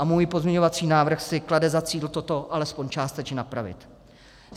A můj pozměňovací návrh si klade za cíl toto alespoň částečně napravit.